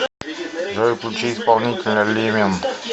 джой включи исполнителя лимен